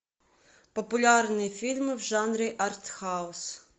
популярные фильмы в жанре артхаус